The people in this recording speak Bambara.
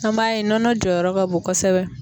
An b'a ye nɔnɔ jɔyɔrɔ ka bon kosɛbɛ.